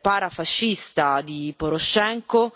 parafascista di Porošenko,